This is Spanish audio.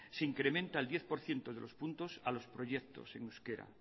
se incrementa el diez por ciento de los puntos a los proyectos en euskera